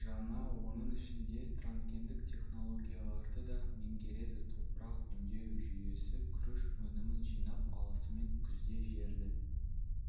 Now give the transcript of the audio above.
жаңа оның ішінде трансгендік технологияларды да меңгереді топырақ өңдеу жүйесі күріш өнімін жинап алысымен күзде жерді